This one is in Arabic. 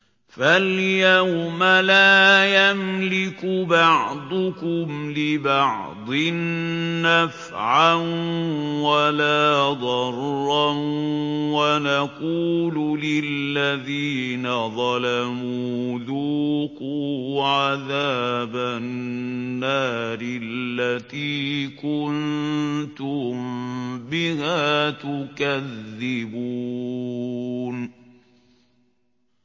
فَالْيَوْمَ لَا يَمْلِكُ بَعْضُكُمْ لِبَعْضٍ نَّفْعًا وَلَا ضَرًّا وَنَقُولُ لِلَّذِينَ ظَلَمُوا ذُوقُوا عَذَابَ النَّارِ الَّتِي كُنتُم بِهَا تُكَذِّبُونَ